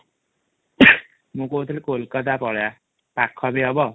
ମୁଁ କହୁଥିଲି କୋଲକାତା ପଳେଇବା ପାଖ ବି ହବ